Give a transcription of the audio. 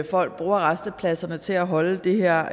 folk bruger rastepladserne til at holde det her